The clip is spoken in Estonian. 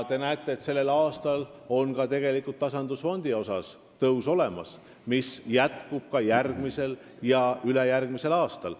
Selleks aastaks on tegelikult ka tasandusfondi tõus ette nähtud, mis jätkub järgmisel ja ülejärgmisel aastal.